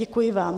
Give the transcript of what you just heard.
Děkuji vám.